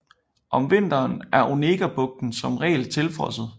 Om vinteren er Onegabugten som regel tilfrosset